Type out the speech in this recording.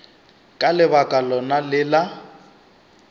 ka lebaka lona le la